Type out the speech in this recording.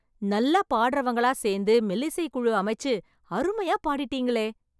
நல்லா பாடறவங்களா சேர்ந்து, மெல்லிசை குழு அமைச்சு அருமையா பாடிட்டீங்களே..